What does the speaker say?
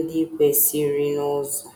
ndị kwesịrịnụ ụzọ?